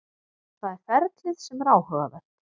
Það er ferlið sem er áhugavert.